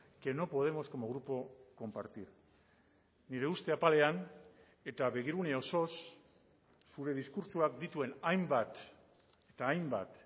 que no podemos como grupo compartir nire uste apalean eta begirune osoz zure diskurtsoak dituen hainbat eta hainbat